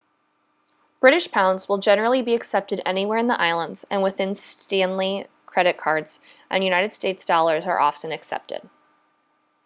british pounds will generally be accepted anywhere in the islands and within stanley credit cards and united states dollars are also often accepted